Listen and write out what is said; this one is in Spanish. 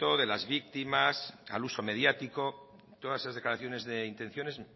de las víctimas al uso mediático todas esas declaraciones de intenciones